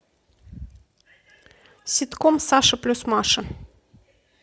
ситком саша плюс маша